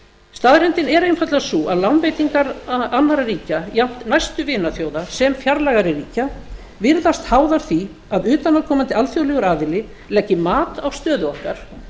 staðreyndin er einfaldlega sú að lánveitingar annarra ríkja jafnt næstu vinaþjóða sem fjarlægari ríkja virðast háðar því að utanaðkomandi alþjóðlegur aðili leggi mat á stöðu okkar